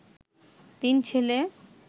তিন ছেলে